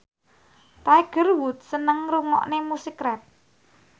Tiger Wood seneng ngrungokne musik rap